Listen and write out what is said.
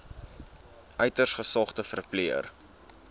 uiters gesogde verpleër